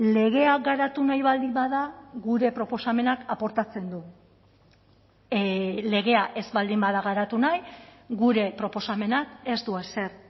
legea garatu nahi baldin bada gure proposamenak aportatzen du legea ez baldin bada garatu nahi gure proposamenak ez du ezer